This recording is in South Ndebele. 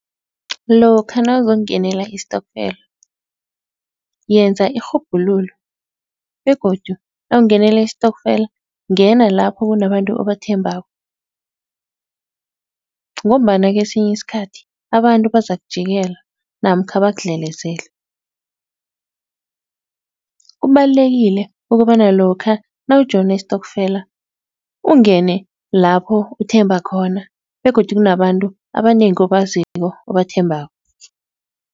Lokha nawuzokungenela istokfela yenza irhubhululo begodu nawungenela istokfela, ngena lapho kunabantu obathembako ngombana kesinye isikhathi abantu bazakujikela namkha bakudlelezele. Kubalulekile ukobana lokha nawujoyina istokfela ungene lapho uthemba khona begodu kunabantu abanengi obaziko obathembako.